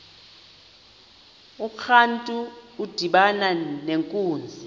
urantu udibana nenkunzi